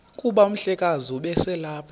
kuba umhlekazi ubeselelapha